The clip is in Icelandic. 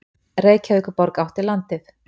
Reykjavíkurborg átti landið.